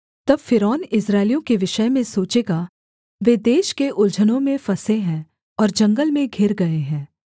तब फ़िरौन इस्राएलियों के विषय में सोचेगा वे देश के उलझनों में फँसे हैं और जंगल में घिर गए हैं